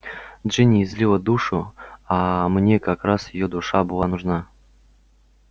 джинни излила душу а мне как раз её душа и была нужна